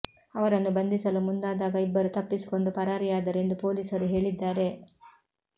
ಅವರನ್ನು ಬಂಧಿಸಲು ಮುಂದಾದಾಗ ಇಬ್ಬರು ತಪ್ಪಿಸಿಕೊಂಡು ಪರಾರಿಯಾದರು ಎಂದು ಪೊಲೀಸರು ಹೇಳಿದ್ದಾರೆ